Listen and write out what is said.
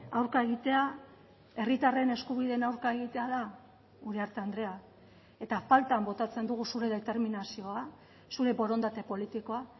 aurka egitea herritarren eskubideen aurka egitea da uriarte andrea eta faltan botatzen dugu zure determinazioa zure borondate politikoa